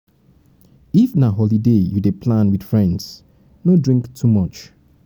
if na holiday you dey plan with friends no drink too much